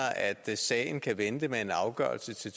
at sagen kan vente med at få en afgørelse